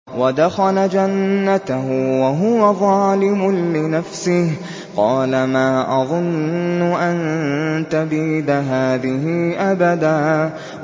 وَدَخَلَ جَنَّتَهُ وَهُوَ ظَالِمٌ لِّنَفْسِهِ قَالَ مَا أَظُنُّ أَن تَبِيدَ هَٰذِهِ أَبَدًا